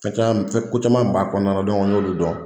Fɛn caman ko caman kun b'a kɔnɔna y'olu dɔn